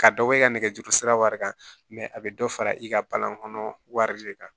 Ka dɔ bɔ i ka nɛgɛjuru sira wari kan mɛ a bɛ dɔ fara i ka balan kɔnɔ wari de kan